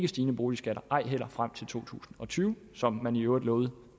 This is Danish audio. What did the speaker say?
stigende boligskatter ej heller frem til to tusind og tyve som man i øvrigt lovede